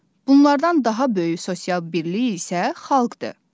Bunlardan daha böyük sosial birlik isə xalqdır.